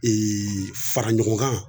fara ɲɔgɔn kan